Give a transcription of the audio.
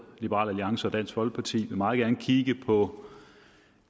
liberal alliance og dansk folkeparti meget gerne vil kigge på